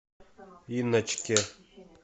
инночке